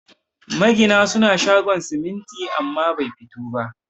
Magina suna shogon siminti amma bai fito ba